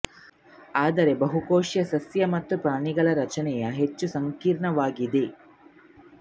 ಆದರೆ ಬಹುಕೋಶೀಯ ಸಸ್ಯ ಮತ್ತು ಪ್ರಾಣಿಗಳ ರಚನೆಯು ಹೆಚ್ಚು ಸಂಕೀರ್ಣವಾಗಿದೆ